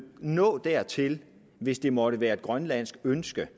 nå dertil hvis det måtte være et grønlandsk ønske